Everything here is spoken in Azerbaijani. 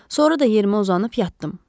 Sonra da yerimə uzanıb yatdım.